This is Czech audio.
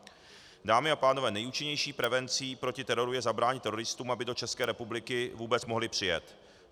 Dámy a pánové, nejúčinnější prevencí proti teroru je zabránit teroristům, aby do České republiky vůbec mohli přijet.